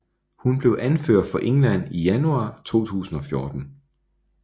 Hun blev anfører for England i januar 2014